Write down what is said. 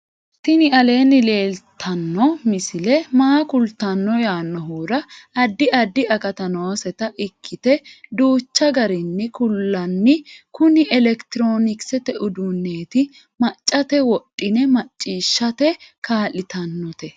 tini aleenni leeltanno misi maa kultanno yaannohura addi addi akati nooseta ikkite duuchchu garinni kullanni KUNI ELEKITIROONIKISETE UDUUNNEETI maccate wodhine macciishshate kaa'litannote